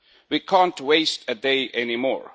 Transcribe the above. We cannot waste a day anymore.